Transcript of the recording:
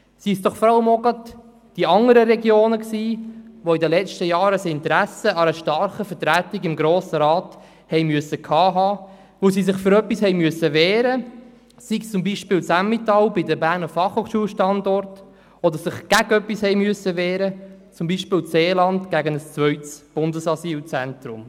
Waren es doch vor allem auch gerade die anderen Regionen, die in den letzten Jahren ein Interesse an einer starken Vertretung im Grossen Rat haben mussten, weil sie sich für etwas wehren mussten, sei es beispielsweise das Emmental bei den Standorten der Berner Fachhochschule (BFH), oder weil sie sich gegen etwas wehren mussten, beispielsweise das Seeland gegen ein zweites Bundesasylzentrum.